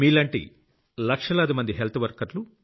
మీలాంటి లక్షలాది మంది హెల్త్ వర్కర్లు